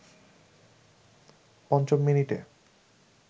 পঞ্চম মিনিটে